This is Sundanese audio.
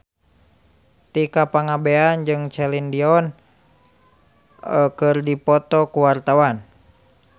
Tika Pangabean jeung Celine Dion keur dipoto ku wartawan